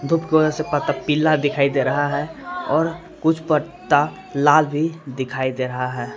धूप के वजह से पत्ता पीला दिखाई दे रहा है और कुछ पत्ता लाल भी दिखाई दे रहा है।